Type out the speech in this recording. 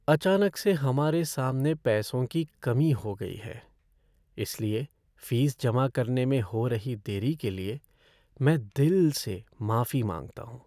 अचानक से हमारे सामने पैसों की कमी हो गई है, इसलिए फ़ीस जमा करने में हो रही देरी के लिए मैं दिल से माफ़ी मांगता हूँ।